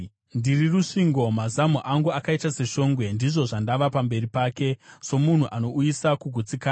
Ndiri rusvingo, mazamu angu akaita seshongwe. Ndizvo zvandava pamberi pake, somunhu anouyisa kugutsikana.